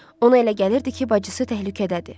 Ona elə gəlirdi ki, bacısı təhlükədədir.